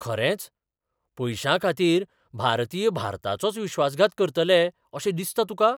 खरेंच? पयशांखातीर भारतीय भारताचोच विश्वासघात करतले अशें दिसता तुका?